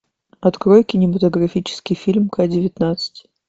открой кинематографический фильм ка девятнадцать